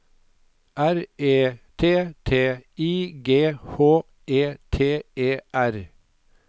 R E T T I G H E T E R